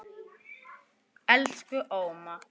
Elsku Óma.